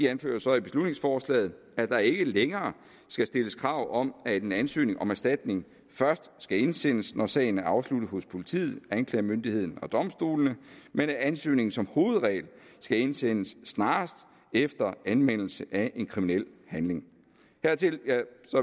anfører så i beslutningsforslaget at der ikke længere skal stilles krav om at en ansøgning om erstatning først skal indsendes når sagen er afsluttet hos politiet anklagemyndigheden eller domstolene men at ansøgningen som hovedregel skal indsendes snarest efter anmeldelse af en kriminel handling dertil